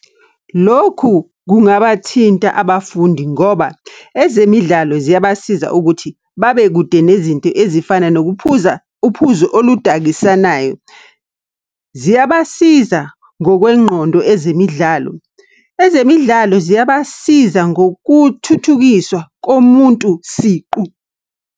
Lokhu kungabathinta abafundi ngoba ezemidlalo ziyabasiza ukuthi, babe kude nezinto ezifana nokuphuza uphuzo oludakisanayo. Ziyabasiza ngokwengqondo ezemidlalo. Ezemidlalo ziyabasiza ngokuthuthukiswa komuntu siqu.